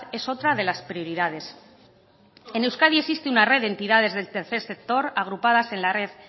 es otra de las prioridades en euskadi existe una red de entidades del tercer sector agrupadas en la red